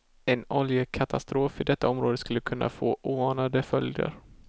En oljekatastrof i detta område skulle kunna få oanade följder.